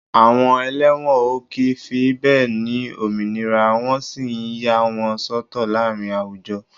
Àwọn ẹlẹ́wọ̀n ó kì í fi bẹ́ẹ̀ ni òmìnira wọ́n sì yà wọ́n sọ́tọ̀ láàárín àwùjọ